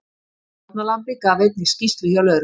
Fórnarlambið gaf einnig skýrslu hjá lögreglu